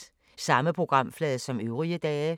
Samme programflade som øvrige dage